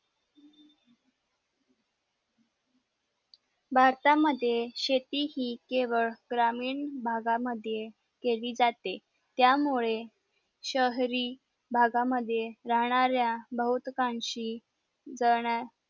भारत मध्ये शेती हि केवळ ग्रामीण भागा मध्ये केली जाते त्या मुळे शहरी भागा मध्ये राहणाऱ्या बहुतकांशी जळंन्या